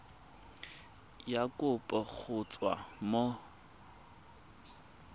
ya kopo go tswa mo